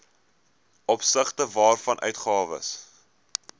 opsigte waarvan uitgawes